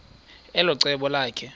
elo cebo lakhe